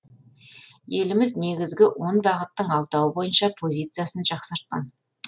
еліміз негізгі он бағыттың алтауы бойынша позициясын жақсартқан